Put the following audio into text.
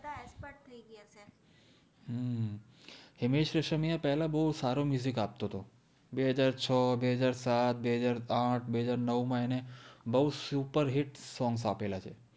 હિમેશ રેશમિયા પેહલા તો બૌ સારો આપ્તો તો બે હજાએ છ બે હજાર સાત બે હજાર આથ બે હજાર નૌ મા એને બૌ સુપર્હિત songs આપેલા છે